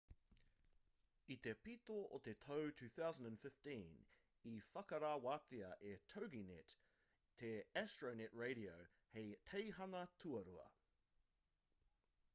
i te pito o te tau 2015 i whakarewatia e toginet te astronet radio hei teihana tuarua